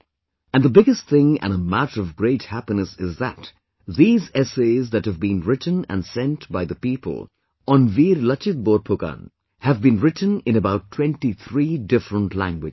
And the biggest thing and a matter of great happiness is that these essays that have been written and sent by the people on Veer Lachit Borphukan have been written in about 23 different languages